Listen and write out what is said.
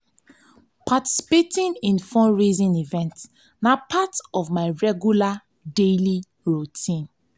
participating in fundraising events na part of my my regular daily routine.